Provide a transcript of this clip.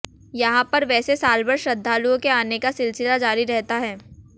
यहां पर वैसे सालभर श्रद्धालुओं के आने का सिलसिला जारी रहता है